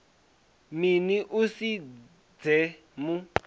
mini u si dze mu